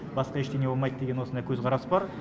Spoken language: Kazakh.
басқа ештеңе болмайды деген осындай көзқарас бар